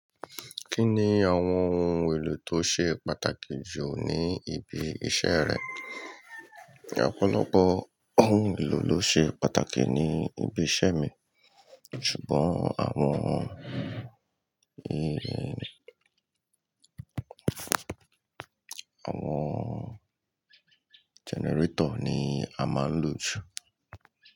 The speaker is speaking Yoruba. Kí ni àwọn ohun èlò tó ṣe pàtàkì jù ní ibi iṣẹ́ rẹ? Ọ̀pọ̀lọpọ̀ ohun èlò ló ṣe pàtàkì ní ibi iṣẹ́ mi, ṣùgbọ́n àwọn, àwọn generator ni a máa ń lò jù.